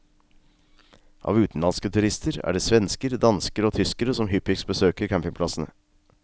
Av utenlandske turister, er det svensker, dansker og tyskere som hyppigst besøker campingplassene.